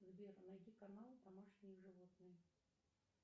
сбер найди канал домашние животные